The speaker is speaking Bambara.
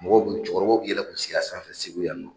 Mɔgɔw bɛ cɛkɔrɔbaw k'i yɛlɛ k'u sigi a sanfɛ Segu yan nɔ.